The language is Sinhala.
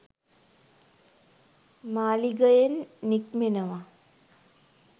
මාළිගයෙන් නික්මෙනවා